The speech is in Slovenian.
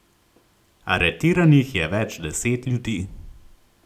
Aretiranih je več deset ljudi.